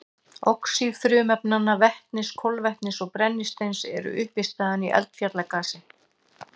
Oxíð frumefnanna vetnis, kolefnis og brennisteins eru uppistaðan í eldfjallagasi.